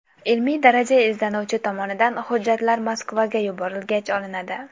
Ilmiy daraja izlanuvchi tomonidan hujjatlar Moskvaga yuborilgach, olinadi.